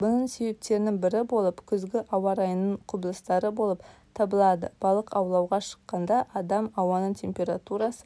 бұның себептерінің бірі болып күзгі ауа райының құбылыстары болып табылады балық аулауғы шыққанда адам ауаның температурасы